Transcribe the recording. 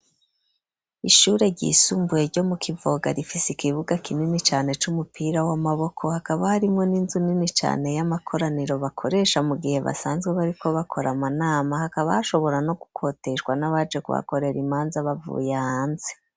Ishure ryisumbuye ryo mu kivoga rifisi ikibuga kinini cane c'umupira w'amaboko .Hakaba harimwe n'inzu nini cane y'amakoraniro bakoresha mu gihe basanzwe bariko bakora amanama hakaba hashobora no gukoteshwa n'abaje kubakorera imanza bavuye hanze.